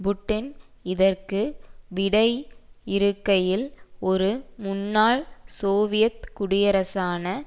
Putin இதற்கு விடையிறுக்கையில் ஒரு முன்னாள் சோவியத் குடியரசான